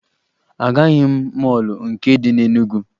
Agaghị m mọọlụ nke dị na Enugwu